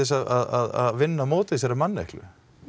að vinna á móti þessari manneklu